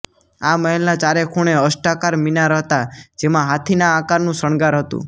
આ મહેલના ચારે ખૂણે અષ્ટાકાર મિનાર હતાં જેમાં હાથીના આકારનું શણગાર હતું